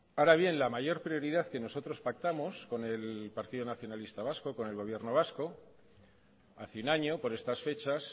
ahora bien la mayor prioridad que nosotros pactamos con el partido nacionalista vasco con el gobierno vasco hace un año por estas fechas